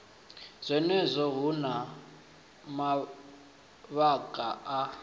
zwenezwo hu na mavhaka a